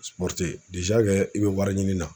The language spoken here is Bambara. i be wariɲini na